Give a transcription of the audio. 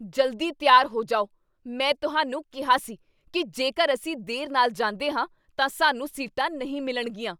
ਜਲਦੀ ਤਿਆਰ ਹੋ ਜਾਓ! ਮੈਂ ਤੁਹਾਨੂੰ ਕਿਹਾ ਸੀ ਕੀ ਜੇਕਰ ਅਸੀਂ ਦੇਰ ਨਾਲ ਜਾਂਦੇ ਹਾਂ ਤਾਂ ਸਾਨੂੰ ਸੀਟਾਂ ਨਹੀਂ ਮਿਲਣਗੀਆਂ।